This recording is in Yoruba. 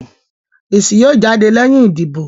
Èsì yóò jáde lẹ́yìn ìdìbò